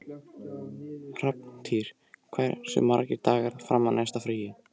Hrafntýr, hversu margir dagar fram að næsta fríi?